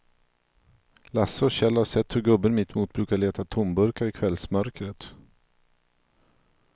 Lasse och Kjell har sett hur gubben mittemot brukar leta tomburkar i kvällsmörkret.